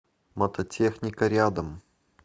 мототехника рядом